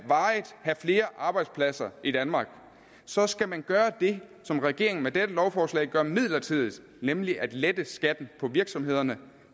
flere arbejdspladser i danmark så skal man permanent gøre det som regeringen med dette lovforslag gør midlertidigt nemlig at lette skatten for virksomhederne